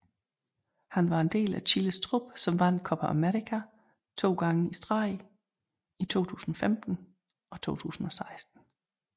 Han var del af Chiles trup som vandt Copa América to gange i streg i 2015 og 2016